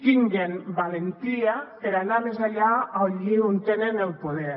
tinguin valentia per anar més enllà allí on tenen el poder